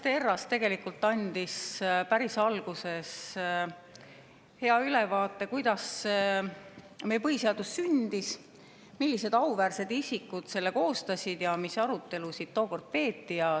Hendrik Johannes Terras andis päris alguses hea ülevaate, kuidas meie põhiseadus sündis, millised auväärsed isikud selle koostasid ja mis arutelusid tookord peeti.